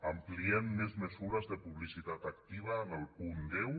ampliem més mesures de publicitat activa en el punt deu